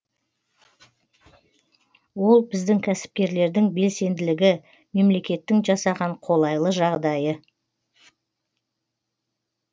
ол біздің кәсіпкерлердің белсенділігі мемлекеттің жасаған қолайлы жағдайы